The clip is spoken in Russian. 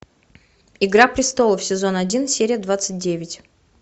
игра престолов сезон один серия двадцать девять